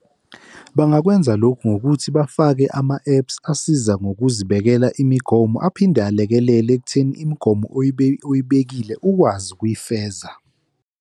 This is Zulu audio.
Bangakwenza lokhu ngokuthi bafake ama-apps asiza ngokuzibekela imigomo aphinde alekelele ekutheni imigomo oyibekile ukwazi ukuyifeza.